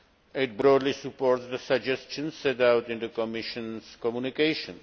It broadly supports the suggestions set out in the Commission's communication.